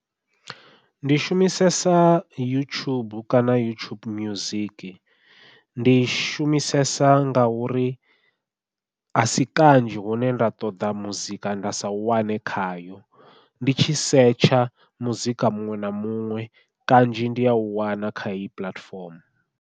Ndi shumisesa youtube kana youtube music, ndi shumisesa ngauri a si kanzhi hune nda ṱoḓa muzika nda sa u wane khayo ndi tshi setsha muzika muṅwe na muṅwe kanzhi ndi au wana kha heyi puḽatifomo.